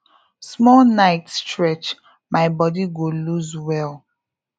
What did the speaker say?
small night stretch my body go loose well